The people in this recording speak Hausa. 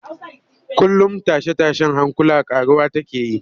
Kullum tashe-tashen hankula ƙaruwa take yi